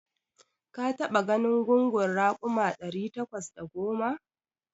Ka taɓa ganin gungun raƙuma ɗari takwas da goma?